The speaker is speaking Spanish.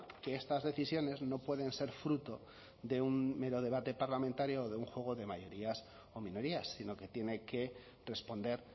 que estas decisiones no pueden ser fruto de un mero debate parlamentario o de un juego de mayorías o minorías sino que tiene que responder